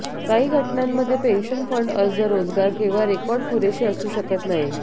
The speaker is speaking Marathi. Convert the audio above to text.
काही घटनांमध्ये पेन्शन फंड अर्ज रोजगार केव्हा रेकॉर्ड पुरेशी असू शकत नाही